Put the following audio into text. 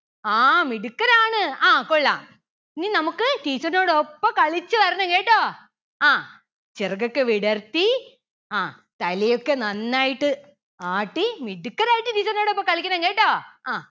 ആ മിടുക്കരാണ് ആ കൊള്ളാം. ഇനി നമുക്ക് teacher ന്റോടൊപ്പം കളിച്ചു വരണം കേട്ടോ ആ ചിറകൊക്കെ വിടർത്തി ആ തലയൊക്കെ നന്നായിട്ട് ആട്ടി മിടുക്കരായിട്ട് teacher ന്റോടൊപ്പം കളിക്കണം കേട്ടോ. അഹ്